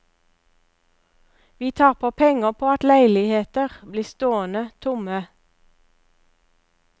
Vi taper penger på at leiligheter blir stående tomme.